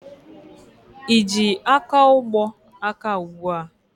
Ị ji akaụgbọ aka ugbua?